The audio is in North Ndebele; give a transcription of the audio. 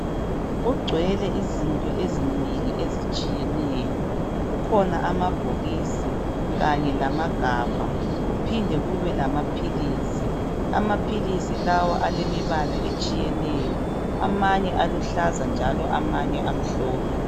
Kugcwele izinto ezinengi ezitshiyeneyo. Kukhona amabhokisi kanye lamagabha, kuphinde kube lamaphilisi. Amaphilisi lawa alemibala etshiyeneyo. Amanye aluhlaza njalo amanye amhlophe.